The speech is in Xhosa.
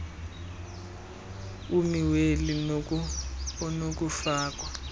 ummi weli onokufakwa